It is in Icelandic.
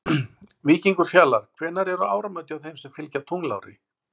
Víkingur Fjalar Hvenær eru áramót hjá þeim sem fylgja tunglári?